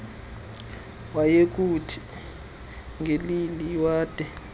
ngeleli wade wayokuthi